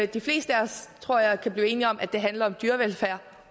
de fleste af os tror jeg kan blive enige om at det handler om dyrevelfærd